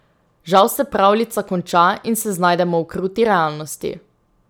Žal se pravljica konča in se znajdemo v kruti realnosti.